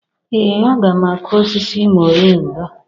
Ee a ga m akụ osisi moringa